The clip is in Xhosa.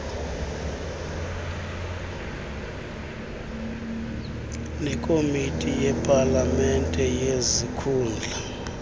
nekomiti yepalamente yezikhundla